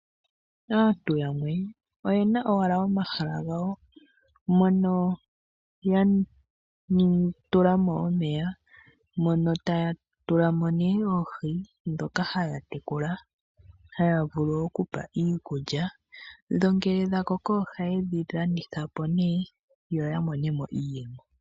Aantu yamwe oyena owala omahala gawo mono ya tulamo omeya ,mono taya tulamo nee oohi ndhoka haya tekula haya vulu okupa iikulya dho ngele dhakoko ohayedhi landithapo nee yo yamonemo iiyemo.